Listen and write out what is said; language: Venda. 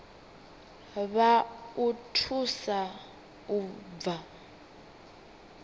vha o thusa u bva